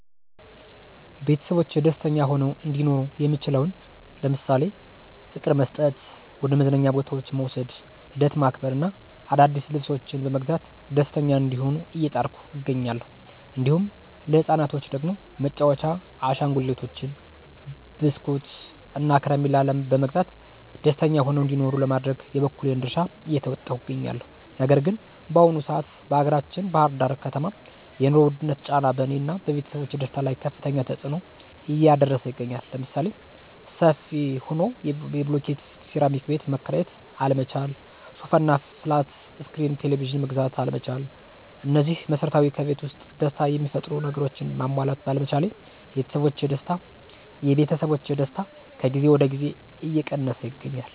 ቤተሰቦቼ ደስተኛ ሆነው እንዲኖሩ የምችለውን ለምሳሌ፦ ፍቅር መስጠት፣ ወደ መዝናኛ ቦታዎች መዉሰድ፣ ልደት ማክበር እና አዳዲስ ልብሶችን በመግዛት ደስተኛ እንዲሆኑ እየጣርኩ እገኛለሁ። እንዲሁም ለህፃናቶች ደግሞ መጫዎቻ አሸንጉሊቶችን፣ በስኩት፣ እና ከረሚላ በመግዛት ደስተኛ ሆነው እንዲኖሩ ለማድረግ የበኩሌን ድርሻ እየተወጣሁ እገኛለሁ። ነገር ግን በአሁኑ ሰአት በአገራችን ባህር ዳር ከተማ የኑሮ ዉድነት ጫና በእኔ እና ቤተሰቦቼ ደስታ ላይ ከፋተኛ ተፅኖ እያደረሰ ይገኛል። ለምሳሌ፦ ሰፊ ሆኖ የብሎኬት ሴራሚክ ቤት መከራየት አለመቻል፣ ሶፋ እና ፍላት እስክሪን ቴሌቭዥን መግዛት አለመቻል እነዚህ መሰረታዊ ከቤት ዉስጥ ደስታ የሚፈጥሩ ነገሮችን ማሟላት ባለመቻሌ የቤተሰቦቼ ደስታ ከጊዜ ወደ ጊዜ እየቀነሰ ይገኛል።